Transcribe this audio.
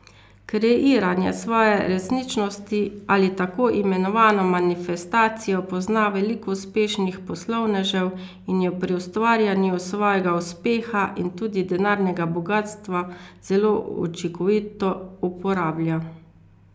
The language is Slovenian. Kreiranje svoje resničnosti ali tako imenovano manifestacijo pozna veliko uspešnih poslovnežev in jo pri ustvarjanju svojega uspeha in tudi denarnega bogastva zelo učinkovito uporablja.